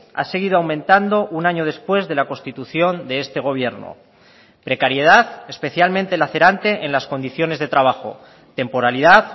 ha seguido aumentando un año después de la constitución de este gobierno precariedad especialmente lacerante en las condiciones de trabajo temporalidad